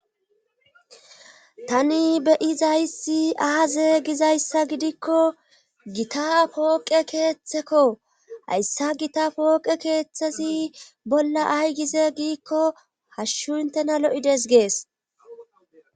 tani beyizayssi aaze gizayssa gidikko gita pooqe keeththekko hayssa gita pooqe keeththesi bolla ay gize giikko hashshu intena lo7ides gees